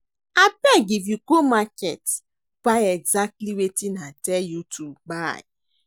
Abeg if you go market buy exactly wetin I tell you to buy